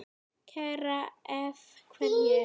Karen: Af hverju?